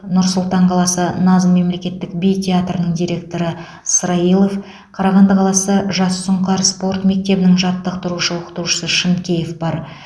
нұр сұлтан қаласы наз мемлекеттік би театрының директоры сраилов қарағанды қаласы жас сұңқар спорт мектебінің жаттықтырушы оқытушысы шынкеев бар